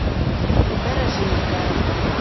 дорожинская